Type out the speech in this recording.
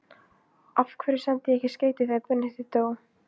Af hverju sendi ég ekki skeyti þegar Benedikt dó?